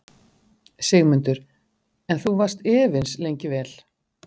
Sigmundur: En þú varst efins lengi vel?